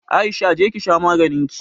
Aisha! je ki sha maganinki.